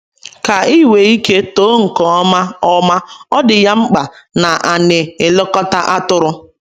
Ka ị wee ike too nke ọma ọma, ọ dị ya mkpa na ana elekota atụrụ.